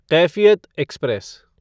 Kaifiyat express